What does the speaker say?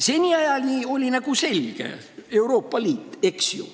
Seniajani oli nagu selge – Euroopa Liit, eks ju.